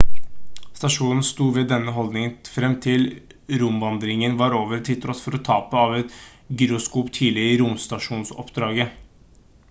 stasjonen sto ved denne holdningen frem til romvandringen var over til tross for tapet av et gyroskop tidligere i romstasjonoppdraget